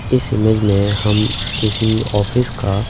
इस इमेज में हम किसी ऑफिस का --